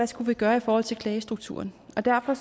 skulle gøre i forhold til klagestrukturen og derfor